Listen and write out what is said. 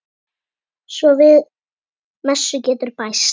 Svo við messu getur bæst.